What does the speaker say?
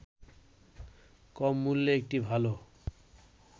কম মূল্যে একটি ভালো